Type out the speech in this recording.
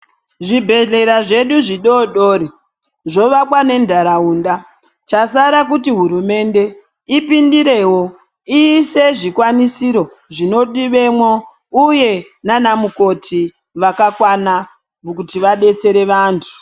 Zvibhedhlera zvedu zvidodori zvovakwa ngenharaunda. Chasara kuti hurumende ipindire iise zvikwanisiro zvinodiwemwo uye nanamukoti vakakwana kuti vadetsere vantu.